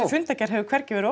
fundargerð hefur hvergi verið